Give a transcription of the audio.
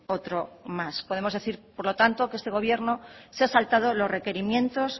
otro más podemos decir por lo tanto que este gobierno se ha saltado los requerimientos